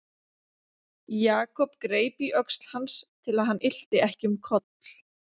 Jakob greip í öxl hans til að hann ylti ekki um koll.